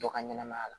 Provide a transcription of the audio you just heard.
Dɔ ka ɲɛnɛmaya la